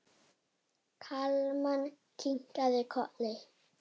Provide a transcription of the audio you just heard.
Kalman kinkaði kolli.